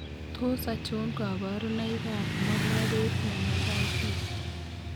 Tos achon kabarunaik ab Mollaret meningitis ?